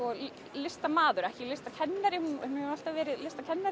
listamaður ekki listakennari hún hefur alltaf verið